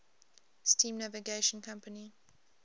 steam navigation company